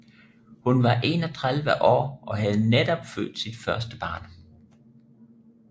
Hun var 31 år og havde netop født sit første barn